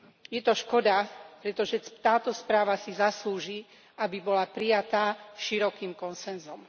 Je to škoda, pretože táto správa si zaslúži, aby bola prijatá širokým konsenzom.